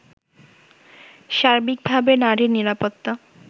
সার্বিকভাবে নারীর নিরাপত্তা